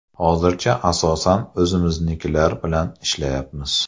Hozircha, asosan, o‘zimiznikilar bilan ishlayapmiz.